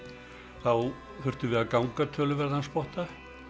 þá þurftum við að ganga töluverðan spotta